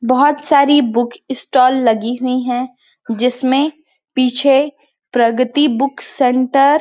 बहोत सारी book stall लगी हुई है जिसमे पीछे प्रगति बुक सेंटर --